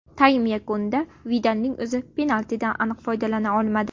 Taym yakunida Vidalning o‘zi penaltidan aniq foydalana olmadi.